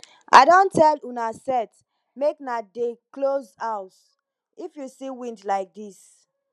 i don tell una set make na dey close house if you see wind like dis